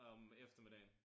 Om eftermiddagen